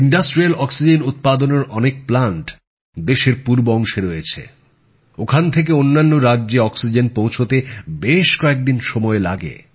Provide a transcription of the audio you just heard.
শিল্পের জন্য অক্সিজেন উৎপাদনের অনেক প্লান্ট দেশের পূর্ব অংশে রয়েছে ওখান থেকে অন্যান্য রাজ্যে অক্সিজেন পৌঁছতে বেশ কয়েক দিন সময় লাগে